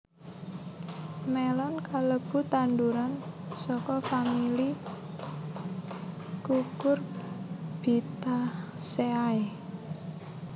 Mélon kalebu tanduran saka famili Cucurbitaceae